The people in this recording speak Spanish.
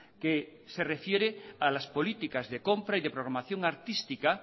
que se refiere a las políticas de compra y de programación artística